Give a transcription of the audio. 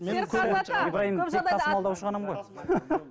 ибрайым тек тасымалдаушы ғанамын ғой